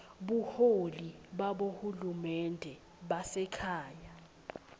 buholi babohulumende basekhaya